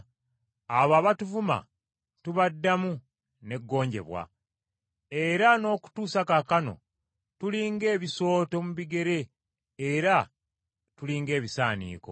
abo abatuvuma tubaddamu ne gonjebwa. Era n’okutuusa kaakano tuli ng’ebisooto mu bigere era tuli ng’ebisaaniiko.